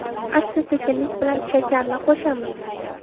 Asta-sekinlik bilan shakarni qo‘shamiz.